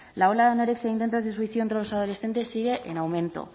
la ola de anorexia e intentos de suicidio entre los adolescentes sigue en aumento